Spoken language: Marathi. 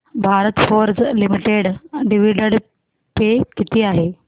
Bharat forge limited dividend pay किती आहे